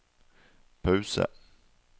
pause